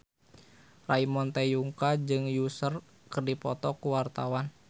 Ramon T. Yungka jeung Usher keur dipoto ku wartawan